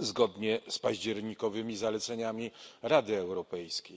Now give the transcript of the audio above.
zgodnie z październikowymi zaleceniami Rady Europejskiej.